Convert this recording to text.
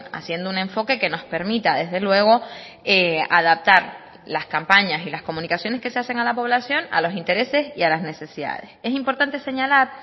haciendo un enfoque que nos permita desde luego adaptar las campañas y las comunicaciones que se hacen a la población a los intereses y a las necesidades es importante señalar